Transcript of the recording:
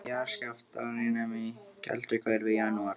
Í jarðskjálftahrinum í Kelduhverfi í janúar